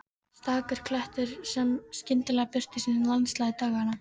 Stakur klettur sem skyndilega birtist í landslagi daganna.